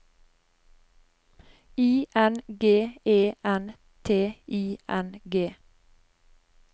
I N G E N T I N G